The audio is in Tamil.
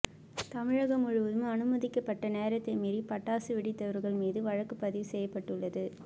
தமிழகம் முழுவதும் அனுமதிக்கப்பட்ட நேரத்தை மீறி பட்டாசு வெடித்தவர்கள் மீது வழக்கு பதிவு செய்யப்பட்டுள்ளது